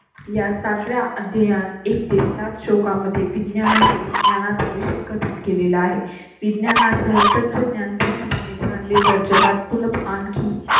या सातव्या अध्यायांत एकतीस नाथ शोका मध्ये विज्ञाना सहित ज्ञानाचा विषय कथन केलेला आहे. विज्ञाना सह तत्वज्ञान पूर्णपणे जाणले तर जगात पुन्हा आणखी.